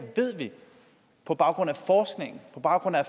ved vi på baggrund af forskning på baggrund af